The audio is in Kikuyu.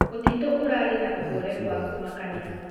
Mũtĩtũ ũrarĩ na ũhorerũ wa kũmakanĩa